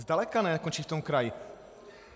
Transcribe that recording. Zdaleka nekončí v tom kraji.